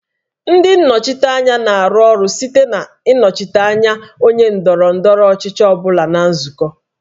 Ndị nnọchiteanya na-arụ ọrụ site na ịnọchite anya onye ndọrọ ndọrọ ọchịchị ọ bụla na nzukọ